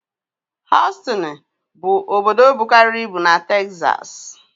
Hostoni bụ obodo bukarịrị ibu na Texas